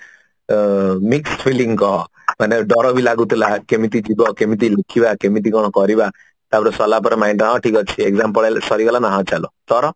ଏ mix feelings କହ ମାନେ ଡର ବି ଲାଗୁଥିଲା କେମିତିଯିବ କେମିତି ଲୁଚିବା କେମିତି କଣ କରିବା ତାପରେ ସରିଲା ପରେ mind ଟା ହଁ ଠିକ ଅଛି exam ପଳେଇଲା ସରିଗଲା ନା ହଁ ଚାଲ ତୋର